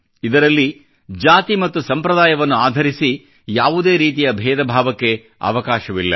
ಇದರಲ್ಲಿ ಜಾತಿ ಮತ್ತು ಸಂಪ್ರದಾಯವನ್ನು ಆಧರಿಸಿ ಯಾವುದೇ ರೀತಿಯ ಬೇಧ ಭಾವಕ್ಕೆ ಅವಕಾಶವಿಲ್ಲ